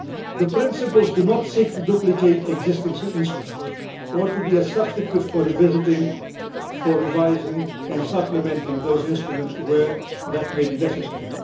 The principles do not seek to duplicate existing instruments or to be a substitute for revisiting, revising and supplementing those instruments where that may be necessary.